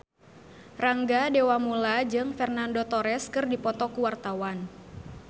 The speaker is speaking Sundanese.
Rangga Dewamoela jeung Fernando Torres keur dipoto ku wartawan